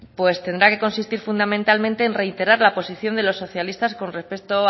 pues tendrá que consistir fundamentalmente en reiterar la posición de los socialistas con respecto